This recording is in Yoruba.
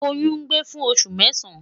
Oyun gba fun osu mẹsan